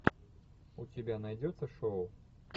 у тебя найдется шоу